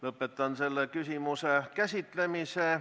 Lõpetan selle küsimuse käsitlemise.